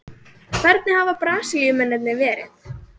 Hvernig hafa Brasilíumennirnir verið?